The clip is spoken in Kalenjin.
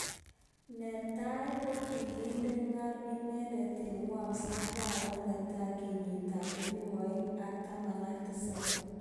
Netai kokikende kol inendet eng Wolves arawet netai kenyit ab elipu aeng ak taman ak tisab.